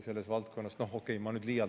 No okei, ma nüüd liialdan.